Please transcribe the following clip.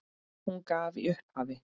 Hún gaf í upphafi